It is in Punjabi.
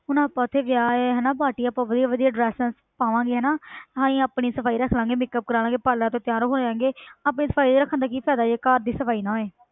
ਹੁਣ ਆਪਾਂ ਇੱਥੇ ਵਿਆਹ ਹੈ ਹਨਾ party ਆਪਾਂ ਵਧੀਆ ਵਧੀਆ dresses ਪਾਵਾਂਗੇ ਹਨਾ ਅਸੀਂ ਆਪਣੀ ਸਫ਼ਾਈ ਰੱਖ ਲਵਾਂਗੇ makeup ਕਰਵਾ ਲਵਾਂਗੇ ਪਾਰਲਰਾਂ ਤੋਂ ਤਿਆਰ ਹੋ ਜਾਵਾਂਗੇ ਆਪਣੀ ਸਫ਼ਾਈ ਰੱਖਣ ਦਾ ਕੀ ਫ਼ਾਇਦਾ ਜੇ ਘਰ ਦੀ ਸਫ਼ਾਈ ਨਾ ਹੋਏ।